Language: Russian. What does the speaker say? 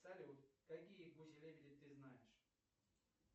салют какие гуси лебеди ты знаешь